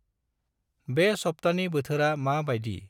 बे सफ्तानि बोथोरा मा बायदि?